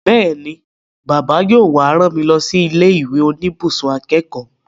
Bẹ́ẹ̀ni, Bàbá yóò wá rán mi lọ sí ilé ìwé oníbùsùn akẹ́kọ̀ọ́